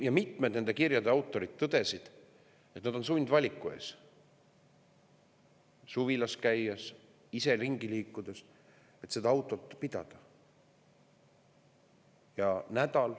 Ja mitmed nende kirjade autorid tõdesid, et nad on suvilas käies või muidu ringi liikudes sundvaliku ees, kas autot pidada.